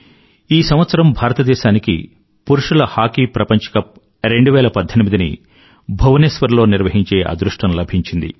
ఈ సంవత్సరం భారతదేశానికి పురుషుల హాకీ ప్రపంచ కప్ 2018 ని భువనేశ్వర్ లో నిర్వహించే అదృష్టం లభించింది